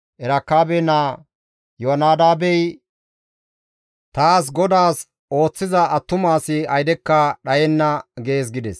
Erekaabe naa Iyoonadaabey taas GODAAS ooththiza attuma asi aydekka dhayenna› gees» gides.